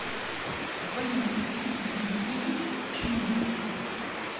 валентин юрьевич чмулев